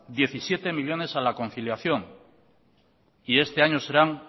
diecisiete millónes a la conciliación y este año serán